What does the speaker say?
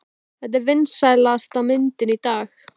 Þetta er vinsælasta myndin í dag!